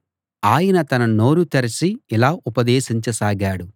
ఆయన తన నోరు తెరచి ఇలా ఉపదేశించ సాగాడు